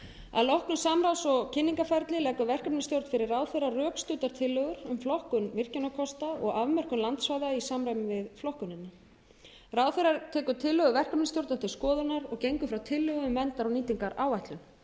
að loknu samráðs og kynningarferli leggur verkefnisstjórn fyrir ráðherra rökstuddar tillögur um flokkun virkjunarkosta og afmörkun landsvæða í samræmi við flokkunina ráðherra tekur tillögu verkefnisstjórnar til skoðunar og gengur frá tillögu um verndar og nýtingaráætlun